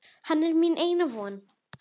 Hann er mín eina von.